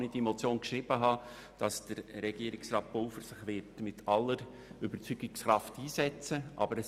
Als ich die Motion einreichte, zweifelte ich nicht daran, dass Regierungsrat Pulver sich mit aller Überzeugungskraft für sie einsetzen würde.